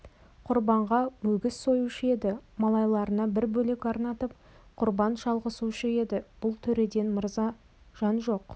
құрбанға өгіз союшы еді малайларына бір бөлек арнатып құрбан шалғызушы еді бұл төреден мырза жан жоқ